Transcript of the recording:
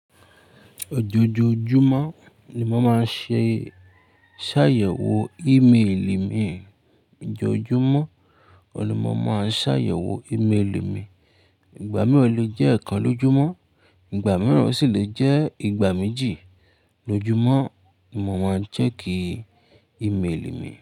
Ojoojúmọ́ ni mo máa ń ṣe sàyẹ̀wò ímeèlì mi. Ojojúmọ́, ọ̀pọ̀ ni mo máa ń sàyẹ̀wò ímeèlì mi. Ìgbà mìíràn, o le jẹ́ ekan lójúmọ́, ìgbà mìíràn o sì lè jẹ́ ìgbà méjì lójúmọ́ mo máa ń check ímeèlì mi.